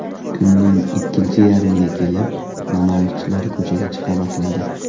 Kunning ikkinchi yarmiga kelib namoyishchilar ko‘chaga chiqa boshladi.